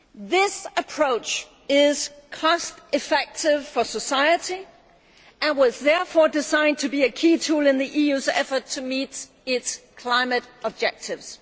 This approach is cost effective for society and was therefore designed to be a key tool in the EU's efforts to meet its climate objectives.